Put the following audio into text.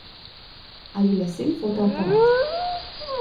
Ali lesen fotoaparat.